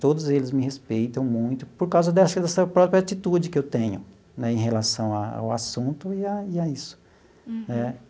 todos eles me respeitam muito por causa dessa própria atitude que eu tenho né em relação ao assunto e a e a isso né.